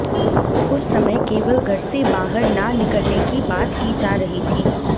उस समय केवल घर से बाहर ना निकलने की बात की जा रही थी